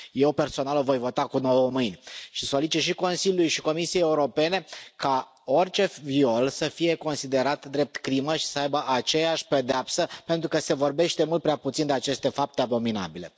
Eu personal o voi vota cu nouă mâini și solicit și Consiliului și Comisiei Europene ca orice viol să fie considerat drept crimă și să aibă aceeași pedeapsă pentru că se vorbește mult prea puțin de aceste fapte abominabile.